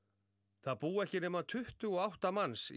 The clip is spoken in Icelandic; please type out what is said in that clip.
það búa ekki nema tuttugu og átta manns í